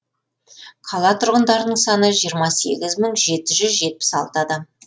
қала тұрғындарының саны жиырма сегіз мың жеті жүз жетпіс алты адам